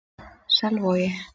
Selvogi